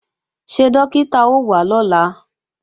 Ṣé Dókítà ó wá lọ́la?